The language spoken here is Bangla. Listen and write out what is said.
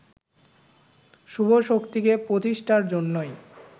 শুভ শক্তিকে প্রতিষ্ঠার জন্যই